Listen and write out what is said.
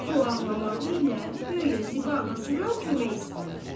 Bu ağlamağı ilə guya Ziba anasından kömək istəyirdi.